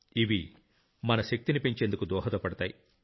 ఇవి మన శక్తిని పెంచేందుకు దోహదపడతాయి